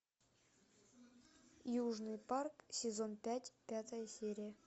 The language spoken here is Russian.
южный парк сезон пять пятая серия